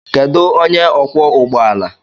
Kedu onye ọkwọ ụgbọ ala?